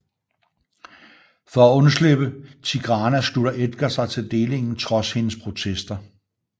For at undslippe Tigrana slutter Edgar sig til delingen trods hendes protester